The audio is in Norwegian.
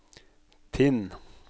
Tinn